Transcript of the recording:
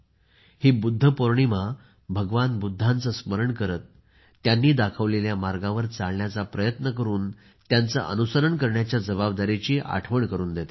ही बुद्ध पोर्णिमा भगवान बुद्धांचे स्मरण करत त्यांनी दाखवलेल्या मार्गावर चालण्याचा प्रयत्न करून त्याचे अनुसरण करण्याच्या जबाबदारीची आठवण करून देते